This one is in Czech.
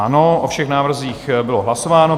Ano, o všech návrzích bylo hlasováno.